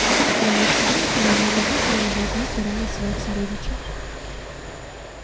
и кроме всего ни одно животное не должно тиранить своих сородичей